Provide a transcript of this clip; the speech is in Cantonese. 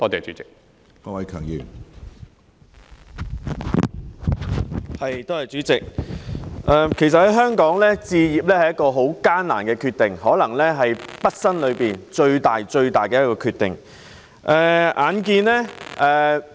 主席，在香港置業其實是個很艱難的決定，更可能是畢生最大的決定。